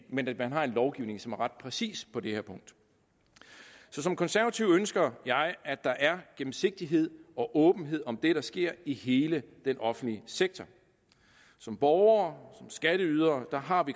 men at man har en lovgivning som er ret præcis på det her punkt som konservativ ønsker jeg at der er gennemsigtighed og åbenhed om det der sker i hele den offentlige sektor som borgere som skatteydere har